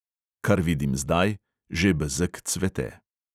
Kar vidim zdaj: že bezeg cveti.